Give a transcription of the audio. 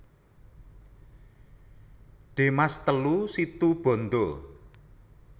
De Maas telu Situbondo